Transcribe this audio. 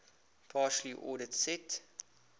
partially ordered set